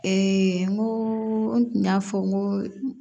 n ko n tun y'a fɔ n ko